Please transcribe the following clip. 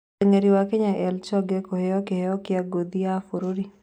Mũteng'eri wa Kenya Eli Choge kũheyo kĩheyo kĩa ngũthi ya bũrũri